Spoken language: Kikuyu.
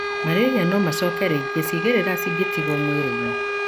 Malaria no macoke rĩngĩ cĩimerera cĩngĩtigwo mwĩrĩinĩ.